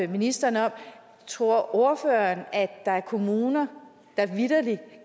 ministeren om tror ordføreren at der er kommuner der vitterlig